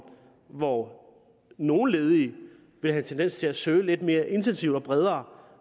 hvor nogle ledige vil have tendens til at søge lidt mere intensivt og bredere